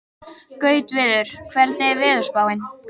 Gautviður, hvernig er veðurspáin?